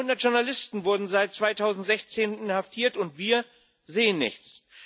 Über 100 Journalisten wurden seit 2016 inhaftiert, und wir sehen nichts.